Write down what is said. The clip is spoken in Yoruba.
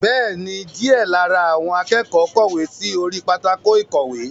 Bẹ́ẹ̀ni, díẹ̀ lára àwọn akẹ́kọ̀ọ́ kọ̀wé sí orí pátákó ìkọ̀wé.